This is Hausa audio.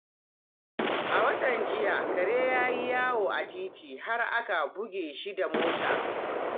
A watan jiya, kare ya yi yawo a titi har aka bige shi da mota.